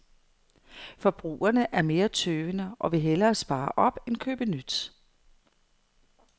Forbrugerne er mere tøvende og vil hellere spare op end købe nyt.